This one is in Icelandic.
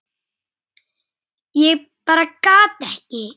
Ég bara gat ekki.